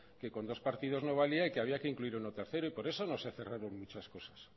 que con dos partidos no valía y que había que incluir uno tercero y por eso no se ha cerrado muchas cosas